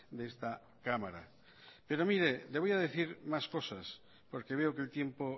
de esta cámara pero mire le voy a decir más cosas porque veo que el tiempo